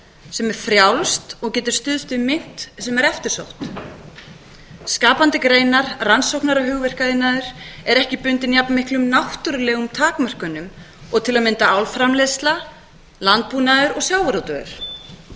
sem er frjálst og getur stuðst við mynt sem er eftirsótt skapandi greinar rannsóknar og hugverkaiðnaður er ekki bundinn jafn miklum náttúrulegum takmörkunum og til að mynda álframleiðsla landbúnaður og sjávarútvegur